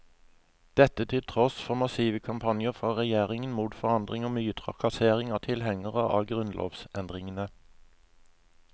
Dette til tross for massive kampanjer fra regjeringen mot forandring og mye trakassering av tilhengerne av grunnlovsendringene.